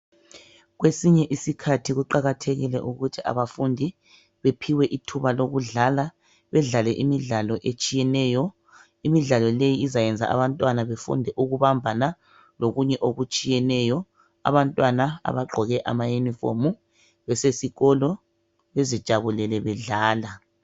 kwesinye isikhathi kuqhakathekile ukuthi abafundi bephiwe ithuba lokudlala badlale imidlalo etshiyeneyo lokho kuzayenza abantwana befunde ukubambana lokunye okutshiyeneyo abantwana abagqoke ama uniform besesikolo bezijabulele bedlala